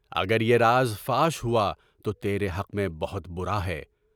اگر یہ راز فاش ہوا تو تیرے حق میں بہت برا ہے۔